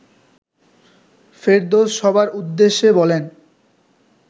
ফেরদৌস সবার উদ্দেশে বলেন